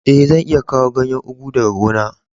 Eh, zan iya kawo ganyen ugu daga gona.